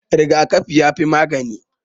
Rigakafi ya fi magani